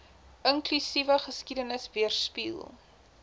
inklusiewe geskiedenis weerspieël